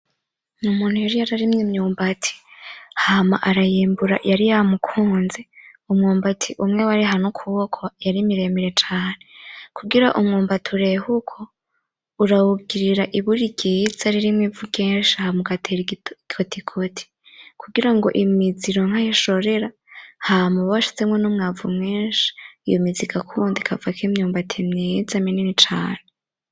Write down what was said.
Umuntu yari yararimye imyumbati, hama arayimbura yari yamukunze, umwumbati umwe wareha n'ukuboko yari miremire cane, kugira umwumbati ureh'uko urawugirira uburi ryiza ririmwo ivu ryinshi hama ugatera igikotikoti, kugira ngo imizi ironke aho ishorera hama uba washizemwo n'umwavu mwinshi, iyo mizi igakunda ikavako imyumbati myiza minini cane.